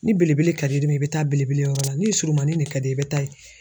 Ni belebele ka di i bɛ taa belebele yɔrɔ la ni surunmanin de ka d'i ye i bɛ taa ye.